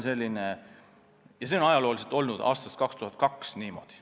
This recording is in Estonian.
See on ajalooliselt olnud aastast 2002 niimoodi.